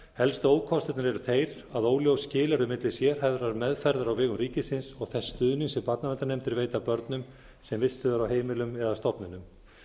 helstu ókostirnir eru þeir að óljós skil eru á milli sérhæfðrar meðferðar á vegum ríkisins og þess stuðnings sem barnaverndarnefndir veita börnum sem vistuð eru á heimilum eða stofnunum